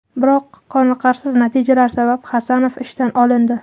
Biroq qonirqarsiz natijalar sabab Hasanov ishdan olindi.